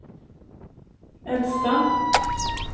äldsta